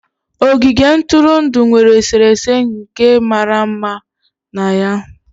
Ogige ntụrụndụ nwere eserese nka mara mma na ya.